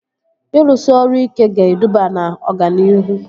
Ịrụsị ọrụ ike ga-eduba na ọganihu